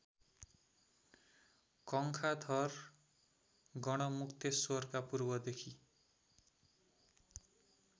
कङ्खाथर गढमुक्तेश्रवरका पूर्वदेखि